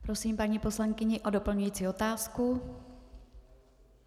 Prosím paní poslankyni o doplňující otázku.